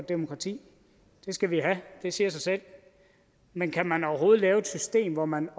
demokrati det skal vi have det siger sig selv men kan man overhovedet lave et system hvor man